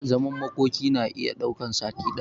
Zaman makoki na iya daukan sati daya